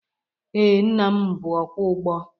Ee, nna m bụ ọkwọ ụgbọ.